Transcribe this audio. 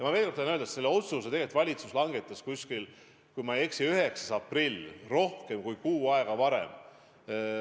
Ma veel kord tahan öelda, et selle otsuse valitsus langetas, kui ma ei eksi, 9. aprillil, rohkem kui kuu aega varem.